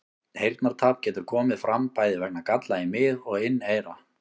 Heyrnartap getur komið fram bæði vegna galla í mið- og inneyra.